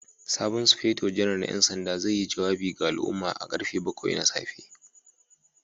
Sabon Sufeto Janar na 'yan sanda zai yi jawabi ga al'umma da karfe bakwai na safe.